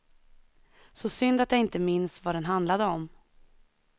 Så synd att jag inte minns vad den handlade om.